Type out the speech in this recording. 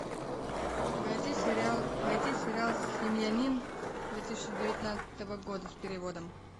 найти сериал найти сериал семьянин две тысячи девятнадцатого года с переводом